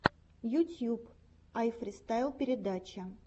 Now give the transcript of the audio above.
ютьюб айфристайл передача